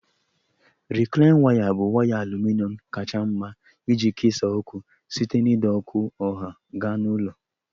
Rịklaịn waya bụ waya aluminọm kacha mma iji kesaa ọkụ site n'ide ọkụ ọha gaa na ụlọ